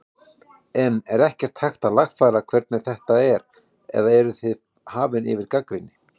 En er ekkert hægt að lagfæra hvernig þetta er eða eruð þið hafin yfir gagnrýni?